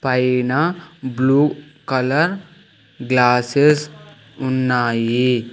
పైనా blue colour glasses ఉన్నాయి.